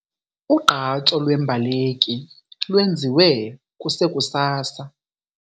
Ugqatso lweembaleki lwenziwe kusekusasa.